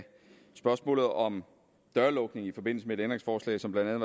spørgsmålet om dørlukning i forbindelse med et ændringsforslag som blandt